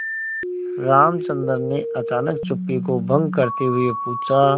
रामचंद्र ने अचानक चुप्पी को भंग करते हुए पूछा